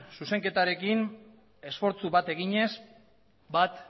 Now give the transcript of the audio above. zuzenketarekin esfortzu bat eginez bat